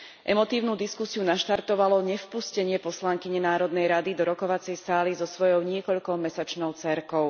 Emotívnu diskusiu naštartovalo nevpustenie poslankyne Národnej rady do rokovacej sály so svojou niekoľkomesačnou dcérkou.